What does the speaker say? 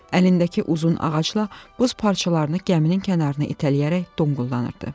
Əlindəki uzun ağacla buz parçalarını gəminin kənarına itələyərək donquldanırdı.